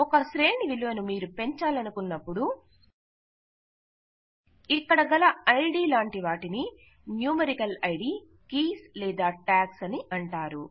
ఒక శ్రేణి విలువను మీరు పెంచాలనుకున్నపుడు ఇక్కడ గల ఐడి లాంటి వాటిని న్యూమెరికల్ ఐడి కీస్ లేదా ట్యాగ్స్ అంటారు